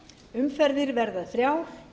umferðir verða þrjár